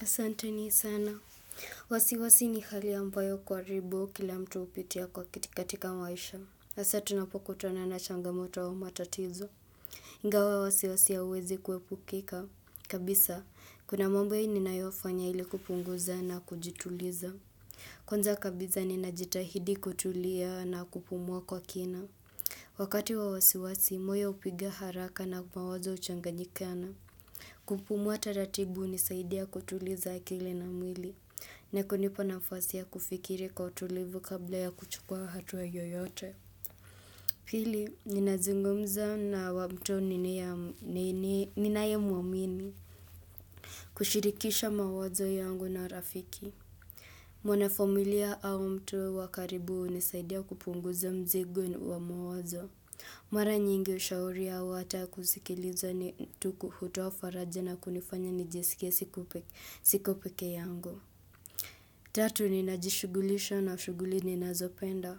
Asanteni sana. Wasiwasi ni hali ambayo karibu kila mtu hupitia kwa katika maisha. Asa tunapokutana na changamoto wa matatizo. Ingawa wasiwasi hauwezi kuepukika. Kabisa, kuna mwambo ninayofanya ili kupunguza na kujituliza. Kwanza kabisa ninajitahidi kutulia na kupumua kwa kina. Wakati wa wasiwasi, moyo hupiga haraka na mawazo uchanganyikana. Kupumua taratibu unisaidia kutuliza akili na mwili. Ni kunipa nafasi ya kufikiri kwa utulivu kabla ya kuchukua hatuwa yoyote. Pili, ninazungumza na mtu ninaye mwamini. Kushirikisha mawazo yangu na rafiki. Mwanafamilia au mtu wa karibu unisaidia kupunguza mzigo wa mawazo. Mara nyingi ushauri au ata kusikiliza ni tu hutoa faraja na kunifanya nijiskie siko pekee yangu. Tatu ni najishughulisha na shughuli ninazopenda.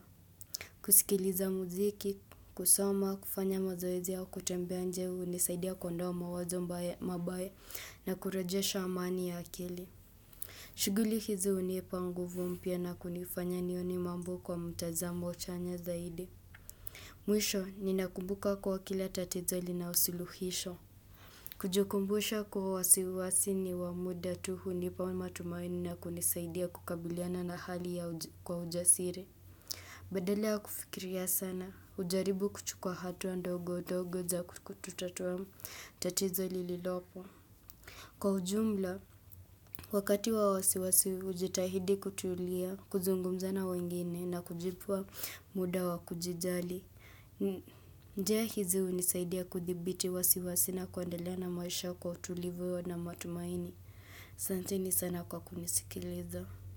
Kusikiliza muziki, kusoma, kufanya mazoezi au kutembea nje, unisaidia kuondoa mawazo mbaya na kurejesha amani ya akili. Shughuli hizi unipa nguvu mpya na kunifanya nione mambo kwa mtazamo chanya zaidi. Mwisho, ninakumbuka kuwa kila tatizo lina usiluhisho. Kujikumbusha kuwa wasiwasi ni wa muda tu hunipa matumaini na kunisaidia kukabiliana na hali kwa ujasiri Badala ya kufikiria sana, ujaribu kuchukua atu ndogo ndogo za kututatua tatizo lililopo. Kwa ujumla, wakati wa wasiwasi ujitahidi kutulia, kuzungumza na wengine na kujipa muda wa kujijali njia hizi unisaidia kuthibiti wasiwa na kuendelea na maisha kwa utulivu na matumaini Asanteni sana kwa kunisikiliza.